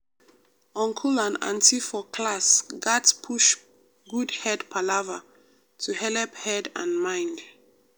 uncle and auntie for class gat push good head palava to helep head and mind.